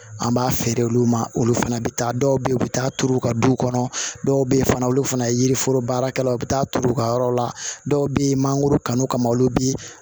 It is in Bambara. An b'a feere olu ma olu fana bɛ taa dɔw bɛ yen u bɛ taa turu u ka du kɔnɔ dɔw bɛ yen fana olu fana yiriforo baarakɛlaw u bɛ taa turu u ka yɔrɔ la dɔw bɛ yen mangoro kanu kama olu bɛ